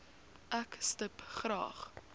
ek stip graag